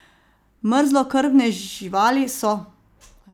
Mrzlokrvne živali so.